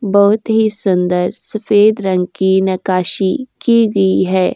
बहुत ही सुंदर सफेद रंग कि नकाशी गई है।